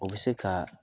O bɛ se ka